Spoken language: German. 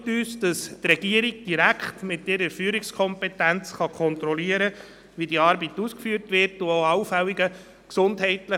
Grundsätzlich befürworten wir Zeit vor Geld, auch, um zu verhindern, dass die Leute irgendwann ausgebrannt sind.